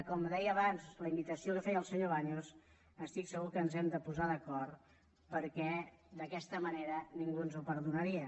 com deia abans la invitació que feia el senyor baños estic segur que ens hem de posar d’acord perquè d’aquesta manera ningú no ens ho perdonaria